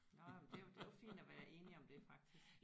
Nej men det er jo det er jo fint at være enige om det faktisk